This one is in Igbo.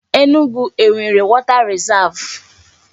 Enugu enwere water risav?